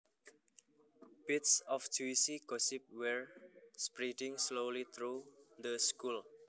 Bits of juicy gossip were spreading slowly through the school